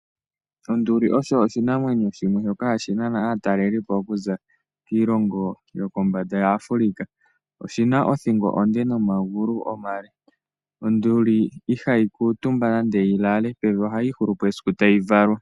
Onduli osho oshinamwenyo shimwe shoka hashi nana aatalelipo okuza kiilongo yokombanda yaAfrica. Oshina othingo onde nomagulu omale. Onduli ihayi kuutumba nande yilale pevi, ohayi ihulu po esiku tayi valwa.